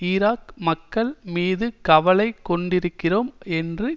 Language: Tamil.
ஈராக் மக்கள் மீது கவலை கொண்டிருக்கிறோம் என்ற